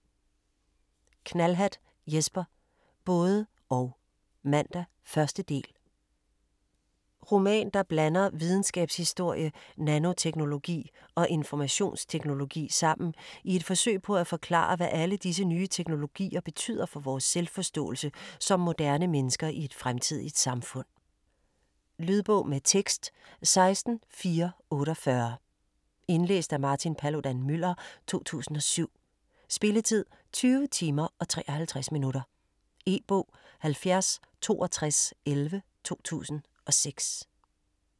Knallhatt, Jesper: Både - og: Mandag: 1. del Roman der blander videnskabshistorie, nanoteknologi og informationsteknologi sammen i et forsøg på at forklare, hvad alle disse nye teknologier betyder for vores selvforståelse som moderne mennesker i et fremtidigt samfund. . Lydbog med tekst 16448 Indlæst af Martin Paludan-Müller, 2007. Spilletid: 20 timer, 53 minutter. E-bog 706211 2006.